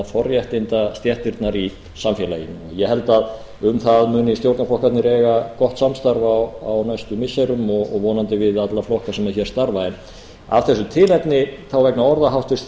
forréttindastéttirnar í samfélaginu ég held að um það muni stjórnarflokkarnir eiga gott samstarf á næstu missirum og vonandi við alla flokka sem hér starfa en af þessu tilefni og vegna orða háttvirts